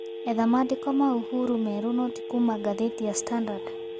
etha maandĩko ma uhuru meeru no ti kũũma gathetĩ ya standard